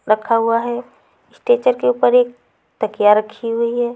रखा हुआ हैं स्टेचर के ऊपर एक तकिया रखी हुवी हैं।